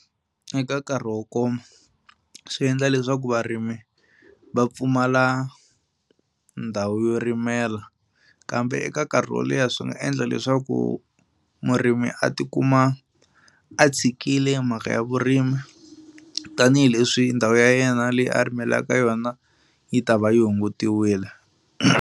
Eka nkarhi wo koma swi endla leswaku varimi va pfumala ndhawu yo rimela kambe eka nkarhi wo leha swi nga endla leswaku murimi a tikuma a tshikile mhaka ya vurimi tanihileswi ndhawu ya yena leyi a rimelaka yona yi ta va yi hungutiwile.